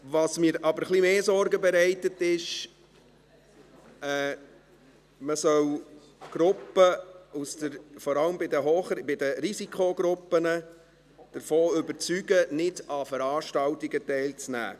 Was mir aber etwas mehr Sorgen bereitet, ist, dass man vor allem Risikogruppen davon überzeugen soll, nicht an Veranstaltungen teilzunehmen.